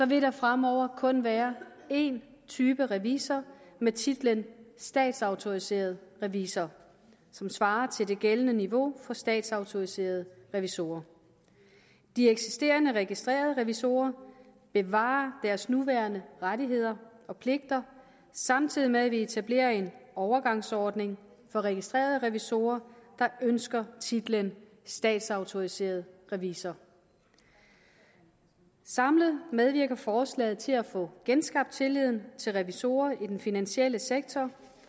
vil der fremover kun være en type revisor med titlen statsautoriseret revisor som svarer til det gældende niveau for statsautoriserede revisorer de eksisterende registrerede revisorer bevarer deres nuværende rettigheder og pligter samtidig med at vi etablerer en overgangsordning for registrerede revisorer der ønsker titlen statsautoriseret revisor samlet medvirker forslaget til at få genskabt tilliden til revisorer i den finansielle sektor